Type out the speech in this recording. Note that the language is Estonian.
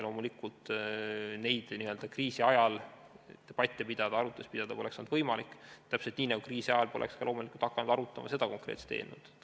Loomulikult, kriisi ajal neid debatte, arutlusi pidada poleks olnud võimalik, täpselt nii nagu kriisi ajal poleks loomulikult hakatud arutama seda konkreetset eelnõu.